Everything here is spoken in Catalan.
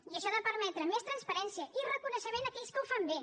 i això ha de permetre més transparència i reconeixement a aquells que ho fan bé